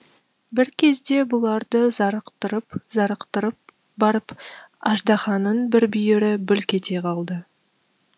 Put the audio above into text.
бір кезде бұларды зарықтырып зарықтырып барып аждаһаның бір бүйірі бүлк ете қалды